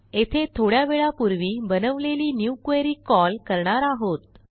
येथे थोड्यावेळापूर्वी बनवलेली न्यू क्वेरी कॉल करणार आहोत